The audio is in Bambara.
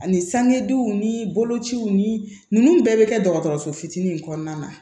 Ani sangedenw ni bolociw ni ninnu bɛɛ bɛ kɛ dɔgɔtɔrɔso fitinin in kɔnɔna na